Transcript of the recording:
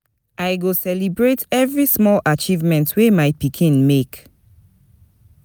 I go celebrate every small achievement wey my pikin make.